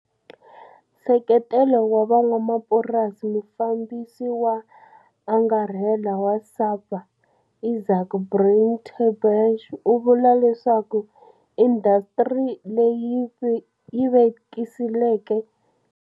Nseketelo wa van'wamapurasi Mufambisi wo Angarhela wa SAPA Izaak Breitenbach u vula leswaku indasitiri leyi yi vekisile.